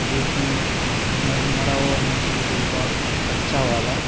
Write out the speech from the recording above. जो की मरा हुआ मछली होगा कच्चा वाला--